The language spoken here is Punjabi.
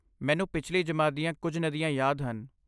ਮੈਨੂੰ ਪਿਛਲੀ ਜਮਾਤ ਦੀਆਂ ਕੁਝ ਨਦੀਆਂ ਯਾਦ ਹਨ।